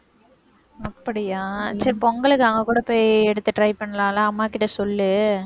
அப்படியா? சரி, பொங்கலுக்கு அங்க கூட போய் எடுத்து try பண்ணலாம் இல்ல? அம்மா கிட்ட சொல்லு.